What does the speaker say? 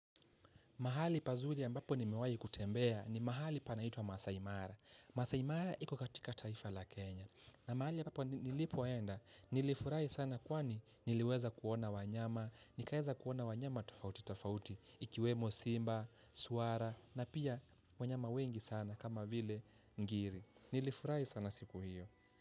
Mahali pazuri ambapo nimewahi kutembea ni mahali panaitwa Maasai Mara. Maasai Mara iko katika taifa la Kenya. Na mahali ambapo nilipoenda, nilifurahi sana kwani niliweza kuona wanyama, nikaweza kuona wanyama tofauti tofauti, ikiwemo simba, swara na pia wanyama wengi sana kama vile ngiri. Nilifurahi sana siku hiyo.